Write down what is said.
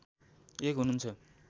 एक हुनुहुन्छ